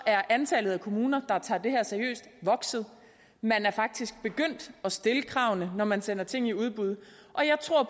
er antallet af kommuner der tager det her seriøst vokset man er faktisk begyndt at stille kravene når man sender ting i udbud og jeg tror